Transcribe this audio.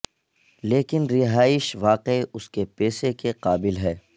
لیکن رہائش واقعی اس کے پیسے کے قابل ہے